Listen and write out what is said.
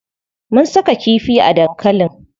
Mun saka kifi a dankalin.